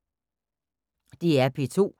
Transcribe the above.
DR P2